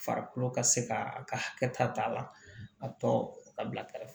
Farikolo ka se ka a ka hakɛ ta a la a tɔ ka bila kɛrɛfɛ